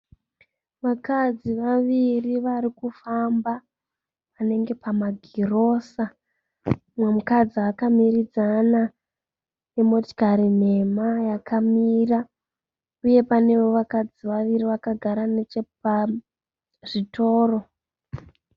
Vakadzi vaviri varikufamba panenge pamagirosa. Umwe mukadzi akamiridzana nemotikari nhema yakamira. Uyewo pane vakadzi vaviri vakagara pazvitoro.